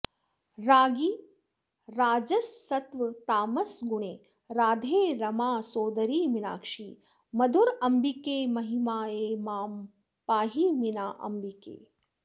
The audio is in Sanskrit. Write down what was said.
राज्ञि राजससत्त्वतामसगुणे राधे रमासोदरि मीनाक्षि मधुराम्बिके महिमये मां पाहि मीनाम्बिके